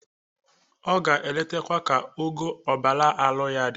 O ga-eletakwa ka ogo ọbara arụ ya dị.